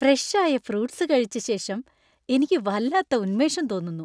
Fresh ആയ fruits കഴിച്ച ശേഷം എനിക്ക് വല്ലാത്ത ഉന്മേഷം തോന്നുന്നു.